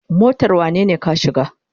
Motar wanene ka shiga?